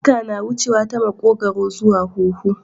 Iska na wuneya ta makogaro zuwa huhu